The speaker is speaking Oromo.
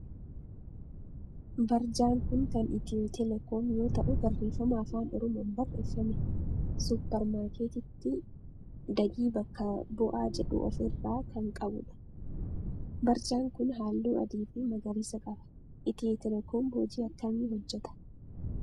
Barjaan kun kan Itiyoo telekoom yoo ta'u barreeffama afaan oromoon barreeffame suupper maarkeettii Dagii bakka bu'aa jedhu of irraa kan qabudha. barjaan kun halluu adii fi magariisa qaba. Itiyoo telekoom hoji akkamii hojjeta?